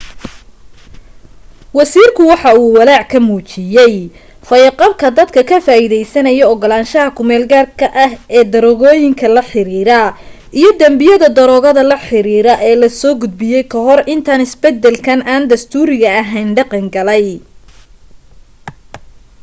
wasiirka waxa walaac ka muujiyay fayo-qabka dadka ka faa'iideysanaa ogolaanshaha ku meel-gaarka ah ee daroogooyinka la xiriira iyo danbiyada daroogada la xiriiray ee la soo gudbiyay ka hor intaan isbedelkan aan dastuuriga ahayn dhaqan galay